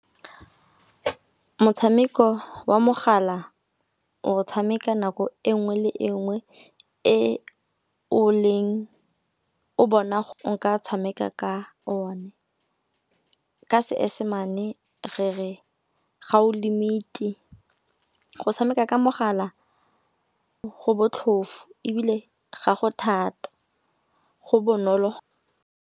Motshameko wa mogala, o tshameka nako engwe le engwe e o bona o nka tshameka ka o ne, ka seesemane re re ga o limit-e. Go tshameka ka mogala go botlhofu ebile ga go thata go bonolo.